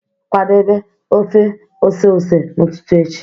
Kwadebe ọfe ọse ọse n'ụtụtụ echi